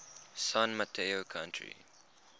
san mateo county